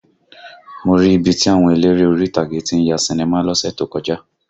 Mo rí ibi tí àwọn eléré orí ìtàgé tí ń ya sinimá lọ́sẹ̀ tó kọjá